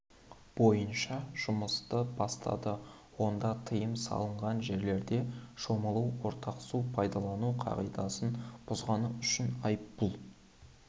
бойынша жұмысты бастады онда тыйым салынған жерлерде шомылу ортақ су пайдалану қағидасын бұзуғаны үшін айыппұл